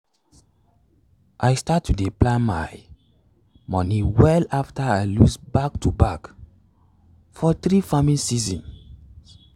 i start to dey plan my moni well after i loss back to back for three farming seasons.